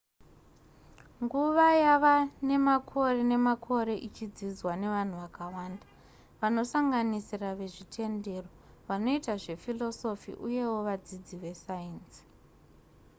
nguva yava nemakore nemakore ichidzidzwa nevanhu vakawanda vanosanganisira vezvitendero vanoita zvephilosophy uyewo vadzidzi vesainzi